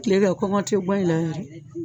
kile kɛ kɔngɔ te ŋa i la yɛrɛ